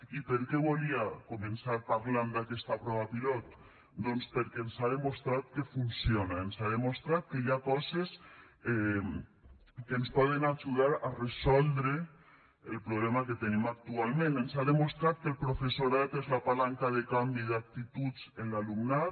i per què volia començar parlant d’aquesta prova pilot doncs perquè ens ha demostrat que funciona ens ha demostrat que hi ha coses que ens poden ajudar a resoldre el problema que tenim actualment ens ha demostrat que el professorat és la palanca de canvi d’actituds en l’alumnat